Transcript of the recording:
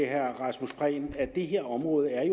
herre rasmus prehn at det her område er